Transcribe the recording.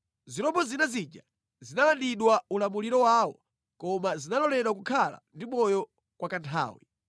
Zirombo zina zija zinalandidwa ulamuliro wawo, koma zinaloledwa kukhala ndi moyo kwa kanthawi.